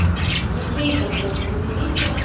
в ячейках распределиться